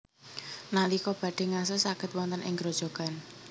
Nalika badhé ngaso saged wonten ing grojogan